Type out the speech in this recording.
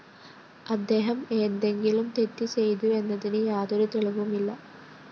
അദ്ദേഹം എന്തെങ്കിലും തെറ്റ് ചെയ്തുവെന്നതിന് യാതൊരു തെളിവുമില്ല